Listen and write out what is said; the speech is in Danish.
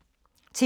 TV 2